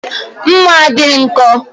Mma a bụ